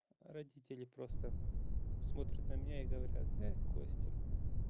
родители просто смотрят на меня и говорят костя